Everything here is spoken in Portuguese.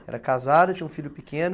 Era casada, tinha um filho pequeno.